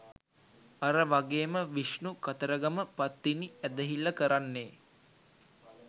අර වගේම විෂ්ණු කතරගම පත්තිනි ඇදහිල්ල කරන්නේ